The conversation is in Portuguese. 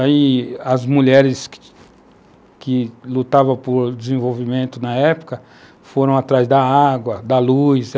Aí as mulheres que que lutavam por desenvolvimento na época foram atrás da água, da luz.